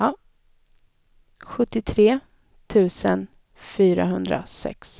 sjuttiotre tusen fyrahundrasex